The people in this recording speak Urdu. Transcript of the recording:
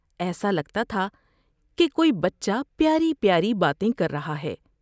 ایسا لگتا تھا کہ کوئی بچہ پیاری پیاری باتیں کر رہا ہے ۔